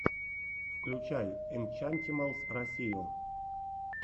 включай энчантималс россию